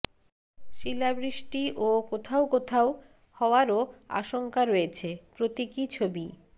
শিলাবৃষ্টি ও কোথাও কোথাও হওয়ারও আশঙ্কা রয়েছে প্রতীকী ছবি